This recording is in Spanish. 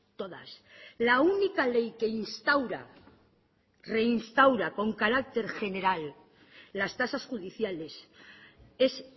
todas la única ley que instaura reinstaura con carácter general las tasas judiciales es